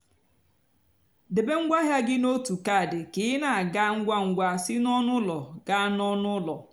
débé ngwa áhịa gị n'ótú caddy kà ị nà-àga ngwa ngwa sị n'ónú úló gáá n'ónú úló.